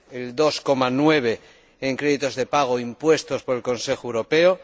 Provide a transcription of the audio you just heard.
el 2,9 en créditos de pago impuesto por el Consejo Europeo